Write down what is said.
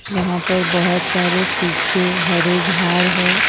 यहां पर बहोत सारे सुखे हरे झाड़ है।